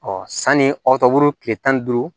sanni aw ka kile tan ni duuru